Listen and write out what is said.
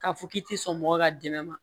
K'a fɔ k'i ti sɔn mɔgɔ ka dɛmɛ ma